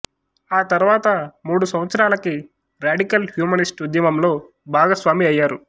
ఆ తర్వాత మూడు సంవత్సరాలకి ర్యాడికల్ హ్యూమనిస్టు ఉద్యమంలో భాగస్వామి అయ్యారు